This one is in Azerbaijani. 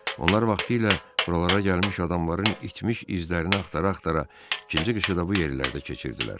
Onlar vaxtilə buralara gəlmiş adamların itmiş izlərini axtara-axtara ikinci qışı da bu yerlərdə keçirdilər.